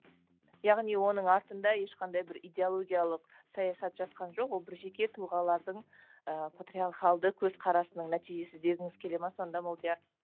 яғни оның артында ешқандай бір идеологиялық саясат жатқан жоқ ол бір жеке тұлғалардың ыыы патриархалды көзқарасының нәтижесі дегіңіз келе ме сонда молдияр